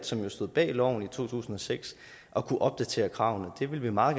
som jo stod bag loven i to tusind og seks at kunne opdatere kravene det vil vi meget